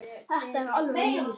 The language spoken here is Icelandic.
Vertu sæll frændi.